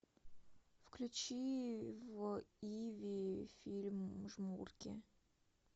включи в иви фильм жмурки